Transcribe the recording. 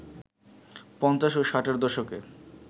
পঞ্চাশ ও ষাটের দশকে